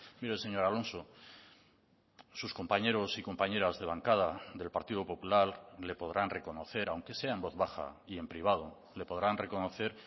mire señor alonso sus compañeros y compañeras de bancada del partido popular le podrán reconocer aunque sea en voz baja y en privado le podrán reconocer